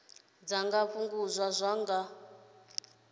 dza nga fhungudzwa nga u